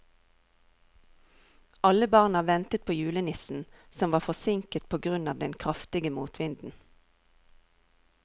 Alle barna ventet på julenissen, som var forsinket på grunn av den kraftige motvinden.